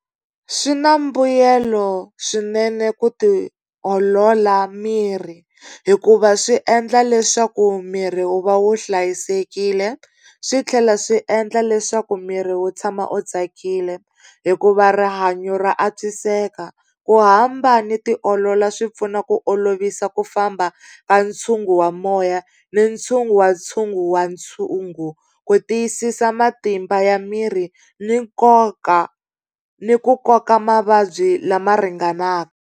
Swi na mbuyelo swinene ku tiolola miri, hikuva swi endla leswaku miri wu va wu hlayisekile swi tlhela swi endla leswaku miri wu tshama u tsakile hikuva rihanyo ra antswiseka. Ku hamba ni tiolola swi pfuna ku olovisa ku famba ka ntshungu wa moya ni ntshungu wa ntshungu wa ntshungu, ku tiyisisa matimba ya miri ni nkoka, ni ku koka mavabyi lama ringanaka.